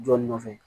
Jɔ nɔfɛ